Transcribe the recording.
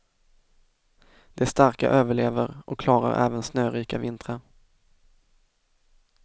De starka överlever och klarar även snörika vintrar.